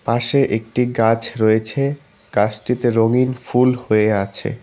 পাশে একটি গাছ রয়েছে গাসটিতে রঙিন ফুল হয়ে আছে।